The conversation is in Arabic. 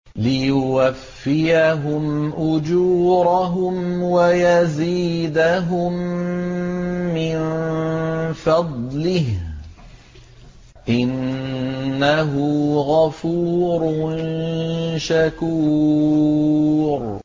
لِيُوَفِّيَهُمْ أُجُورَهُمْ وَيَزِيدَهُم مِّن فَضْلِهِ ۚ إِنَّهُ غَفُورٌ شَكُورٌ